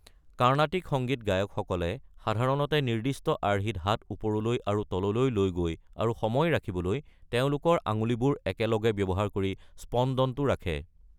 কাৰ্ণাটিক সংগীত গায়কসকলে সাধাৰণতে নিৰ্দিষ্ট আৰ্হিত হাত ওপৰলৈ আৰু তললৈ লৈ গৈ আৰু সময় ৰাখিবলৈ তেওঁলোকৰ আঙুলিবোৰ একেলগে ব্যৱহাৰ কৰি স্পন্দনটো ৰাখে।